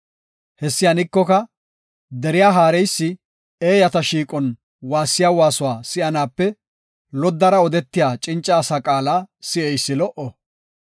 Hessi hanikoka, deriya haareysi eeyata shiiqon waassiya waasuwa si7anaape loddara odetiya cinca asa qaala si7eysi lo77o.